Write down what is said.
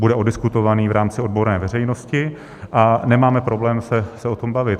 Bude oddiskutován v rámci odborné veřejnosti a nemáme problém se o tom bavit.